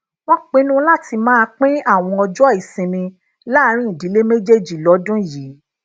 wón pinnu láti máa pin àwọn ọjó ìsinmi láàárín ìdílé méjèèjì lódún yìí